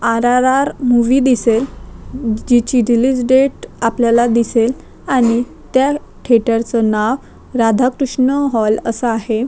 R R R movie दिसेल जिची release date आपल्याला दिसेल आणि त्या थेटरच नाव राधा कृष्ण हॉल अस आहे.